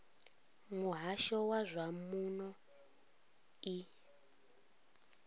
muhasho wa zwa muno i